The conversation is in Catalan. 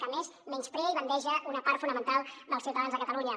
que a més menysprea i bandeja una part fonamental dels ciutadans de catalunya